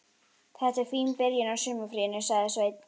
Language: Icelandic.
Þetta var fín byrjun á sumarfríinu, sagði Svenni.